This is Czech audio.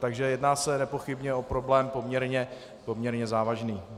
Takže jedná se nepochybně o problém poměrně závažný.